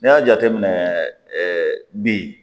N'i y'a jateminɛ ɛɛ bin